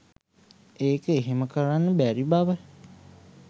ඒක එහෙම කරන්න බැරි බව